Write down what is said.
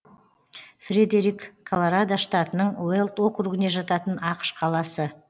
фредерик колорадо штатының уэлд округіне жататын ақш қаласы